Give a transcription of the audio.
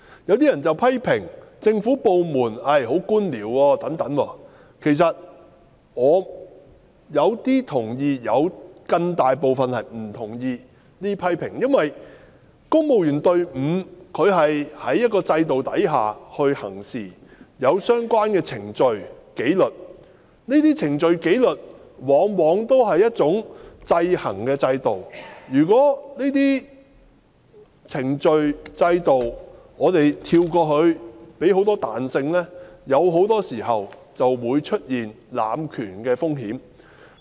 有些人批評政府部門存在官僚作風，其實我對這些批評有部分同意，但有更大部分不同意，因為公務員隊伍是在一個制度下行事，他們有相關的程序和紀律，而這些程序和紀律往往屬於一種制衡的制度；如果跳過這些程序和制度，賦予他們許多彈性，往往會出現濫權的風險。